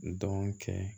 Dɔn kɛ